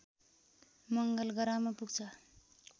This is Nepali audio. मङ्गलग्रहमा पुग्छ